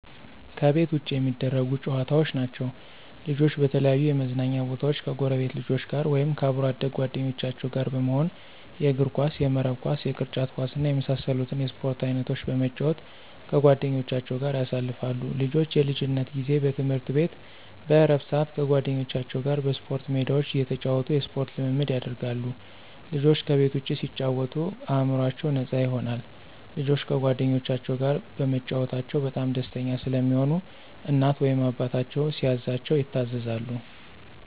ከቤት ውጭ የሚደረጉ ጨዋታዎች ናቸዉ። ልጆች በተለያዩ የመዝናኛ ቦታወች ከጎረቤት ልጆች ጋር ወይም ከአብሮ አደግ ጓደኞቻቸው ጋር በመሆን የእግርኳስ፣ የመረብ ኳስ፣ የቅርጫት ኳስ እና የመሳሰሉትን የስፖርት አይነቶች በመጫወት ከጓደኞቻቸው ጋር ያሳልፋሉ። ልጆች የልጅነት ጊዜ በትምህርት ቤት በእረፍት ስአት ከጓደኞቻቸው ጋር በስፖርት ሜዳቸው እየተጫወቱ የስፖርት ልምምድ ያደርጋሉ። ልጆች ከቤት ውጭ ሲጫወቱ አእምሮአቸው ነፃ ይሆናል። ልጆች ከጓደኞቻቸው ጋር በመጫወታቸው በጣም ደስተኛ ስለሚሆኑ እናት ወይም አባታቸው ሲያዛቸው ይታዘዛሉ።